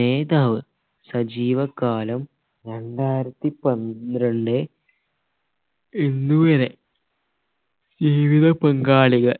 നേതാവ് സജീവ കാലം രണ്ടായിരത്തി പന്ത്രണ്ട് ഇന്ന് വരെ ജീവിത പാങ്കാളികൾ